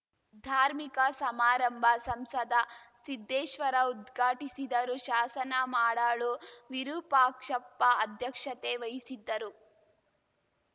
ಧಾರ್ಮಿಕ ಸಮಾರಂಭ ಸಂಸದ ಸಿದ್ದೇಶ್ವರ ಉದ್ಘಾಟಿಸಿದರು ಶಾಸನ ಮಾಡಾಳು ವಿರೂಪಾಕ್ಷಪ್ಪ ಅಧ್ಯಕ್ಷತೆ ವಹಿಸಿದ್ದರು